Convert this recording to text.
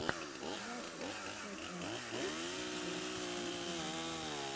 запись ти энд кейк геймс в ютубе